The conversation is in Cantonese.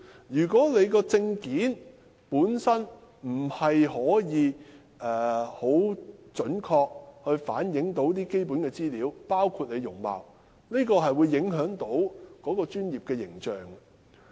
如果證件無法準確反映從業員的基本資料，包括容貌，將會影響行業的專業形象。